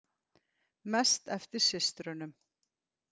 Mest eftir systrunum.